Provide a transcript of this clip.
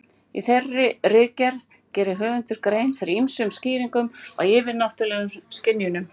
Í þeirri ritgerð gerir höfundur grein fyrir ýmsum skýringum á yfirnáttúrulegum skynjunum.